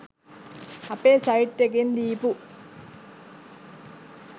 අපේ සයිට් එකෙන් දීපු